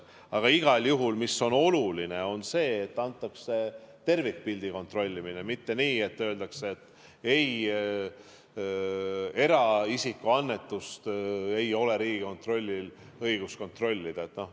Aga igal juhul on oluline, et antakse tervikpilti kontrollida, mitte nii, et öeldakse, et ei, eraisikute annetust ei ole Riigikontrollil õigust kontrollida.